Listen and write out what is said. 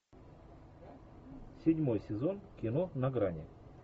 седьмой сезон кино на грани